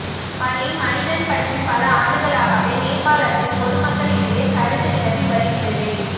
பனி மனிதன் பற்றி பல ஆண்டுகளாகவே நேபாளத்தில் பொதுமக்களிடையே கருத்து நிலவி வருகிறது